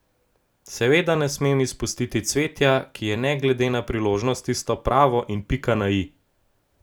Seveda ne smem izpustiti cvetja, ki je ne glede na priložnost tisto pravo in pika na i.